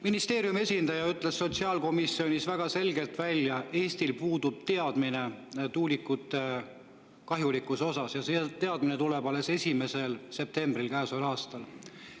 Ministeeriumi esindaja ütles sotsiaalkomisjonis väga selgelt välja, et Eestil puudub teadmine tuulikute kahjulikkuse kohta ja see teadmine tuleb alles 1. septembril käesoleval aastal.